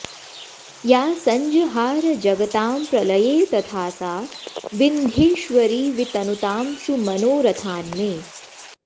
या सञ्जहार जगतां प्रलये तथा सा विन्ध्येश्वरी वितनुतां सुमनोरथान्मे